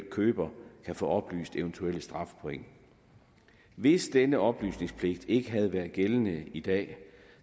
køber kan få oplyst eventuelle strafpoint hvis denne oplysningspligt ikke havde været gældende i dag